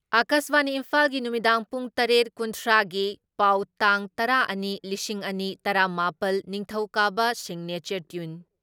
ꯑꯀꯥꯁꯕꯥꯅꯤ ꯏꯝꯐꯥꯜꯒꯤ ꯅꯨꯃꯤꯗꯥꯡ ꯄꯨꯡ ꯇꯔꯦꯠ ꯀꯨꯟꯊ꯭ꯔꯥ ꯒꯤ ꯄꯥꯎ ꯇꯥꯡ ꯇꯔꯥ ꯑꯅꯤ ꯂꯤꯁꯤꯡ ꯑꯅꯤ ꯇꯔꯥ ꯃꯥꯄꯜ, ꯅꯤꯡꯊꯧꯀꯥꯕ ꯁꯤꯒꯅꯦꯆꯔ ꯇ꯭ꯌꯨꯟ